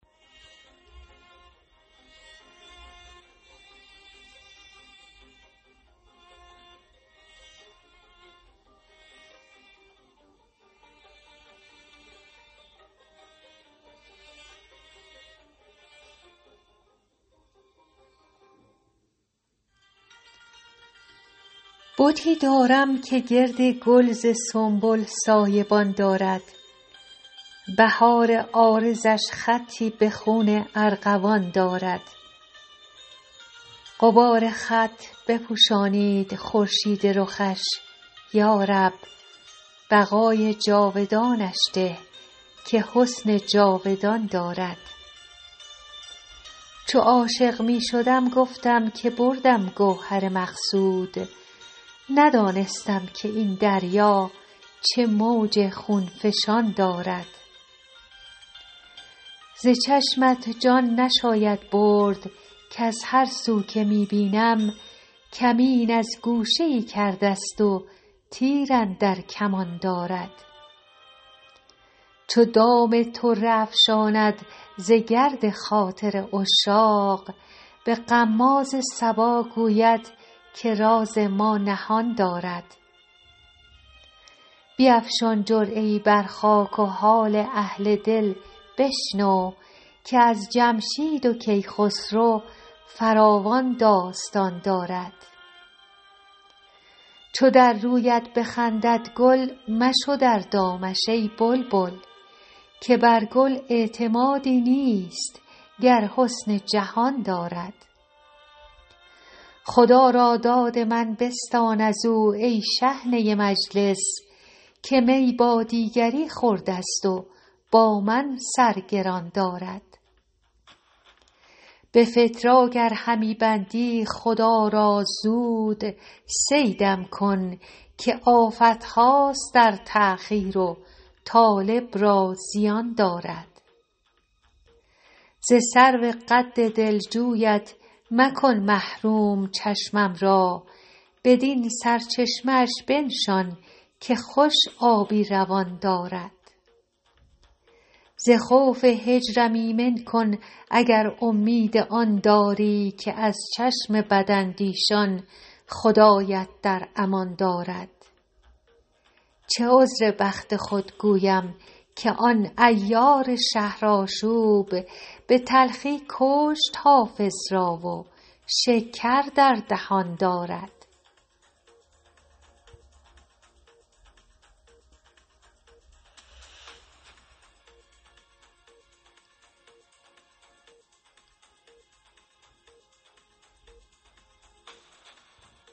بتی دارم که گرد گل ز سنبل سایه بان دارد بهار عارضش خطی به خون ارغوان دارد غبار خط بپوشانید خورشید رخش یا رب بقای جاودانش ده که حسن جاودان دارد چو عاشق می شدم گفتم که بردم گوهر مقصود ندانستم که این دریا چه موج خون فشان دارد ز چشمت جان نشاید برد کز هر سو که می بینم کمین از گوشه ای کرده ست و تیر اندر کمان دارد چو دام طره افشاند ز گرد خاطر عشاق به غماز صبا گوید که راز ما نهان دارد بیفشان جرعه ای بر خاک و حال اهل دل بشنو که از جمشید و کیخسرو فراوان داستان دارد چو در رویت بخندد گل مشو در دامش ای بلبل که بر گل اعتمادی نیست گر حسن جهان دارد خدا را داد من بستان از او ای شحنه مجلس که می با دیگری خورده ست و با من سر گران دارد به فتراک ار همی بندی خدا را زود صیدم کن که آفت هاست در تأخیر و طالب را زیان دارد ز سرو قد دلجویت مکن محروم چشمم را بدین سرچشمه اش بنشان که خوش آبی روان دارد ز خوف هجرم ایمن کن اگر امید آن داری که از چشم بداندیشان خدایت در امان دارد چه عذر بخت خود گویم که آن عیار شهرآشوب به تلخی کشت حافظ را و شکر در دهان دارد